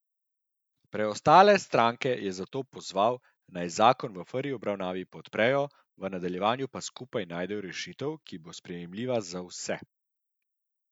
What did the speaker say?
Preostale stranke je zato pozval, naj zakon v prvi obravnavi podprejo, v nadaljevanju pa skupaj najdejo rešitev, ki bo sprejemljiva za vse.